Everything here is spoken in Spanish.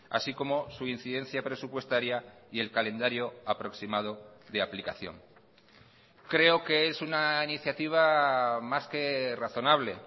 así como su incidencia presupuestaria y el calendario aproximado de aplicación creo que es una iniciativa más que razonable